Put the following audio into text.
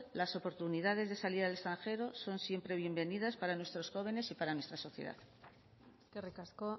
las oportunidades de salir al extranjero son siempre bienvenidas para nuestros jóvenes y para nuestra sociedad eskerrik asko